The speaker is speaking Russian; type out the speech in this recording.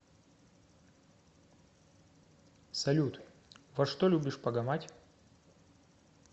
салют во что любишь погамать